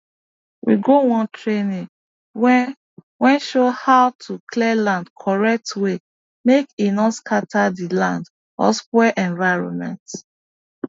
we go one training wey wey show how to clear land correct way make e no scatter the land or spoil environment